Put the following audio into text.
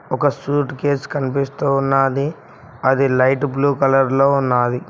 ఒక suitcase కనిపిస్తు ఉన్నాది అది లైట్ బ్లూ కలర్ లో ఉన్నాది.